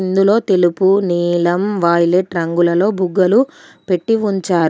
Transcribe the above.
ఇందులో తెలుపు నీలం వాయ్లెట్ రంగులలో బుగ్గలు పెట్టి ఉంచారు.